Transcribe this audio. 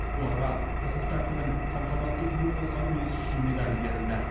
оларға құқық тәртібін қамтамасыз етуге қосқан үлесі үшін медалі берілді